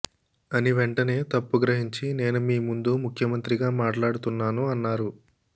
అని వెంటనే తప్పు గ్రహించి నేను మీ ముందు ముఖ్యమంత్రిగా మాట్లాడుతున్నాను అన్నారు